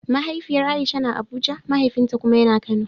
Mahaifiyar Aisha na Abuja, mahaifinta kuma ya na Kano.